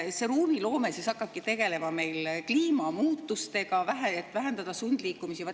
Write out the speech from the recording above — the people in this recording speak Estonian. See ruumiloome hakkabki tegelema kliimamuutusega, vähendada sundliikumisi.